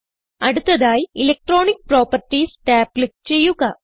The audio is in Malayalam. അടുത്തതായി ഇലക്ട്രോണിക് പ്രോപ്പർട്ടീസ് ടാബ് ക്ലിക്ക് ചെയ്യുക